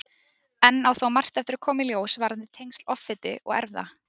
Enn á þó margt eftir að koma í ljós varðandi tengsl offitu og erfða.